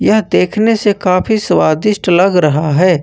यह देखने से काफी स्वादिष्ट लग रहा है।